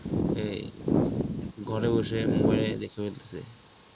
এই ঘরে বসে mobile দেখে ফেলছে